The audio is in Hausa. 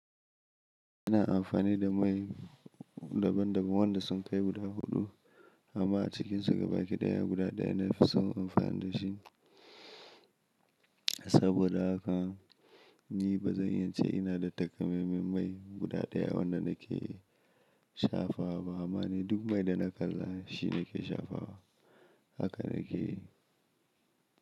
Ina amfani da mai daban daban wanda sun kai guda huɗu amma a cikinsu gaba ɗaya guda ɗaya na fi son amfani da shi. Saboda haka ni bazan iya ce ina da takamaiman mai guda ɗaya wanda nake shafawa ba. Amma ni duk mai da na kalla shi nake shafawa haka nake yi.